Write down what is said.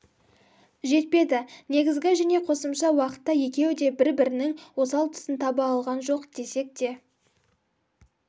жетпеді негізгі және қосымша уақытта екеуі де бір-бірінінің осал тұсын таба алған жоқ десек те